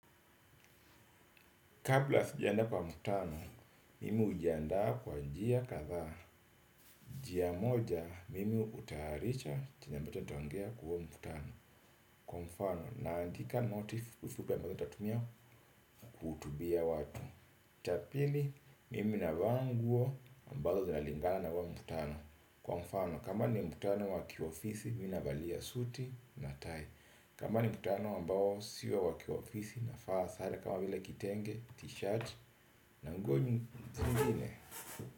Kabla sijaenda kwa mkutano, mimi hujianda kwa njia kadhaa, njia moja mimi hutayarisha chenye ambacho nitaongea kwa huo mkutano. Kwa mfano, naandika noti fupi fupi ambazo nitatumia kuhutubia watu cha pili, mimi navaa nguo ambazo zinalingana na hul mkutano. Kwa mfano, kama ni mkutano wa kiofisi, mimi navalia suti na tai. Kama ni mkutano ambao sio wa wa kiofisi na faa sara kama vile kitengee tishati na nguo zingine.